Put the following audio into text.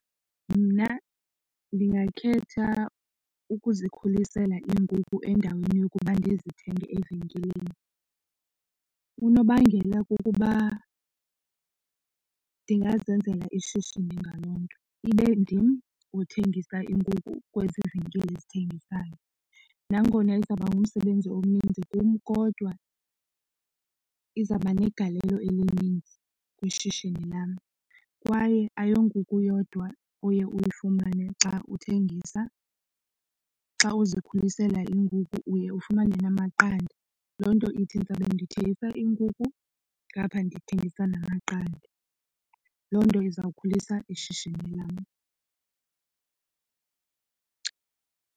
Mna ndingakhetha ukuzikhulisela iinkukhu endaweni yokuba ndizithenge evenkileni. Unobangela kukuba ndingazenzela ishishini ngaloo nto ibe ndim othengisa iinkukhu kwezi venkile zithengisayo. Nangona izawuba ngumsebenzi omnintsi kum kodwa izawuba negalelo elininzi kwishishini lam. Kwaye ayo nkukhu yodwa oye uyifumane xa uthengisa. Xa uzikhulisela iinkukhu uye ufumane namaqanda. Loo nto ithi ndizawube ndithengisa iinkukhu ngapha ndithengisa namaqanda loo nto iza kukhulisa ishishini lam.